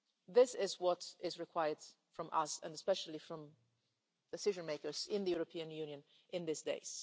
This is what is required from us and especially from decision makers in the European Union today.